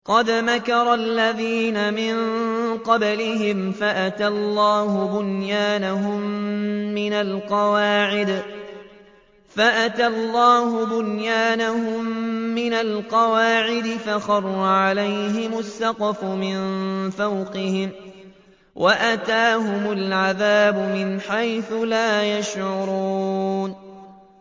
قَدْ مَكَرَ الَّذِينَ مِن قَبْلِهِمْ فَأَتَى اللَّهُ بُنْيَانَهُم مِّنَ الْقَوَاعِدِ فَخَرَّ عَلَيْهِمُ السَّقْفُ مِن فَوْقِهِمْ وَأَتَاهُمُ الْعَذَابُ مِنْ حَيْثُ لَا يَشْعُرُونَ